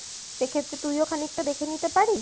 সেক্ষেত্রে তুইও খানিকটা দেখে নিতে পারিস